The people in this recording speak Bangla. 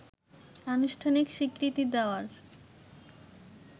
আনুষ্ঠানিক স্বীকৃতি দেওয়ার